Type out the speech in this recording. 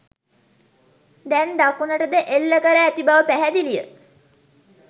දැන් දකුණටද එල්ල කර ඇති බව පැහැදිලිය